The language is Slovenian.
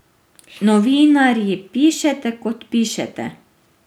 Novinarji pišete, kot pišete.